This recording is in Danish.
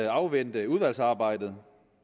afvente udvalgsarbejdet